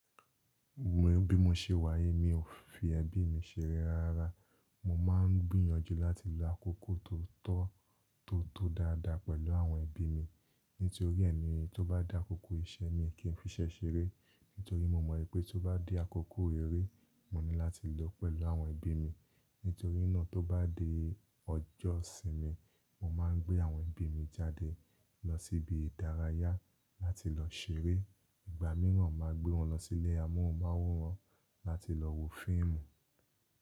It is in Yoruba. Bí mo ṣe wá yi, mi ò fi ẹbí mi ṣeré rárá rárá. Mo máa ń gbìyànjú láti lo àkókò tó tọ́ tó tó dáadáa pẹ̀lú àwọn ẹbí mi. Nítorí ẹni tó bá dá àkókò iṣẹ́ mi kí n fi iṣẹ́ ṣeré. Nítorí mo mọ̀ pé tó bá di àkókò eré, mo ní láti lò ó pẹ̀lú àwọn ẹbí mi. Nítorí náà tó bá di ọjọ́ ìsinmi, mo máa gbé àwọn ẹbí mi jáde lọ síbi ìdárayá láti lọ ṣeré. Ìgbà mìíràn máa gbé wọn lọ sí ilé amóhùnmáwòrán láti lọ wo fíìmù.